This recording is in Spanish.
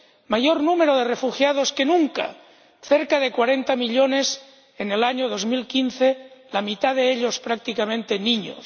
Mayor número de refugiados que nunca cerca de cuarenta millones en el año 2015, la mitad de ellos prácticamente niños.